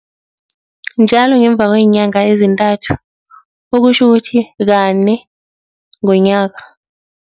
Njalo ngemva kweenyanga ezintathu okutjho ukuthi, kane ngonyaka,